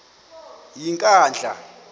yenkandla